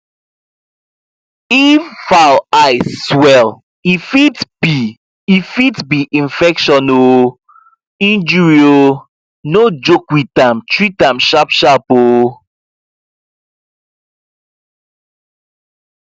if fowl eye swell e fit be e fit be infection or um injury um no joke with am treat am sharpsharp um